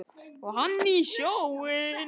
Og hann í sjóinn.